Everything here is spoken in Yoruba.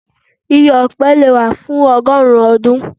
igi ọpẹ le wa fun ọgọrun ọdun.